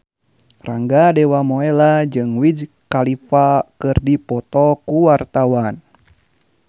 Rangga Dewamoela jeung Wiz Khalifa keur dipoto ku wartawan